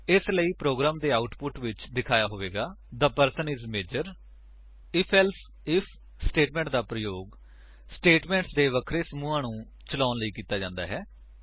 ਇਸਲਈ ਪ੍ਰੋਗਰਾਮ ਦੇ ਆਉਟਪੁਟ ਵਿੱਚ ਦਿਖਾਇਆ ਹੋਵੇਗਾ ਕਿ the person is major IfElse if statement ਦਾ ਪ੍ਰਯੋਗ ਸਟੇਟਮੇਂਟਸ ਦੇ ਵੱਖਰੇ ਸਮੂਹਾਂ ਨੂੰ ਚਲਾਉਣ ਲਈ ਕੀਤਾ ਜਾਂਦਾ ਹੈ